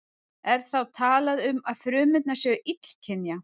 Er þá talað um að frumurnar séu illkynja.